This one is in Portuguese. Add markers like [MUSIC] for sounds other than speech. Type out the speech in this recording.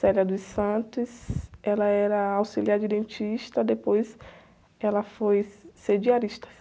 [UNINTELLIGIBLE] ela era auxiliar de dentista, depois ela foi ser diarista.